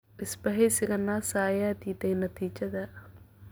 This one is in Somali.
Isbaheysiga NASA ayaa diiday natiijada.